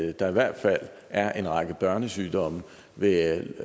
at der i hvert fald er en række børnesygdomme ved